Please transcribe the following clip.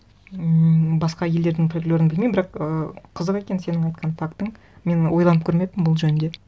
м басқа елдердің фольклорын білмеймін бірақ ыыы қызық екен сенің айтқан фактың мен ойланып көрмеппін бұл жөнінде